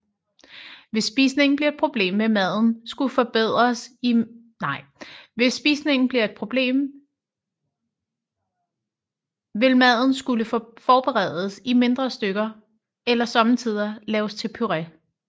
Hvis spisning bliver et problem vil maden skulle forberedes i mindre stykker eller somme tider laves til puré